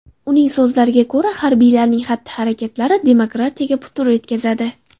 Uning so‘zlariga ko‘ra, harbiylarning xatti-harakatlari demokratiyaga putur yetkazadi.